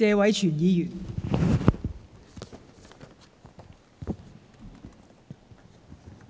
代理